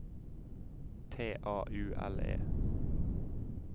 T A U L E